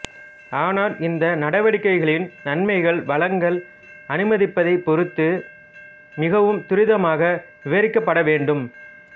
ஆனால் இந்த நடவடிக்கைகளின் நன்மைகள் வளங்கள் அனுமதிப்பதைப் பொறுத்து மிகவும் துரிதமாக விரிவாக்கப்பட வேண்டும்